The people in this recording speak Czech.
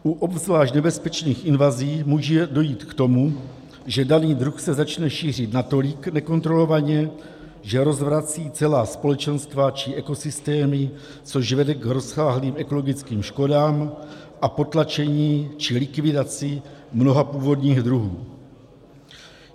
U obzvlášť nebezpečných invazí může dojít k tomu, že daný druh se začne šířit natolik nekontrolovaně, že rozvrací celá společenstva či ekosystémy, což vede k rozsáhlým ekologickým škodám a potlačení či likvidaci mnoha původních druhů.